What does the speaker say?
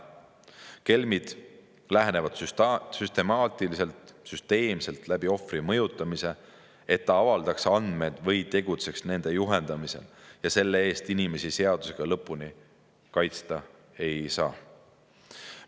Kelmid lähenevad süsteemselt ohvri mõjutamise kaudu, et ta avaldaks andmed või tegutseks nende juhendamisel, ja selle eest inimesi seadusega lõpuni kaitsta ei saa.